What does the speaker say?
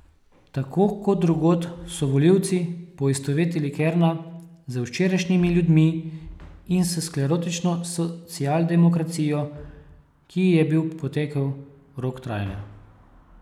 Tako kot drugod so volivci poistovetili Kerna z včerajšnjimi ljudmi in s sklerotično socialdemokracijo, ki ji je bil potekel rok trajanja.